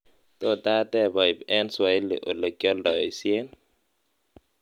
tot ateb oib en swahili olekyoldoisien